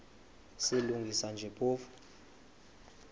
silungisa nje phofu